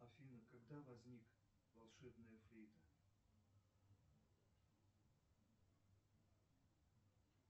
афина когда возник волшебная флейта